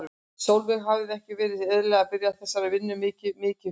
Sólveig: Hefði ekki verið eðlilegt að byrja á þessari vinnu mikið mikið fyrr?